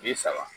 Bi saba